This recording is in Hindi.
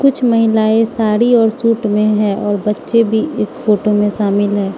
कुछ महिलाएं साड़ी और सूट में हैं और बच्चे भी इस फोटो में शामिल हैं।